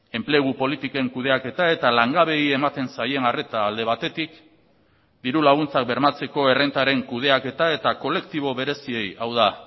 enplegu politiken kudeaketa eta langabeei ematen zaien arreta alde batetik diru laguntzak bermatzeko errentaren kudeaketa eta kolektibo bereziei hau da